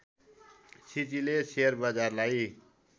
सिजीले share बजारलाई